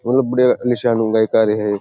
बहुत बढ़िया निसारे गईकारे है।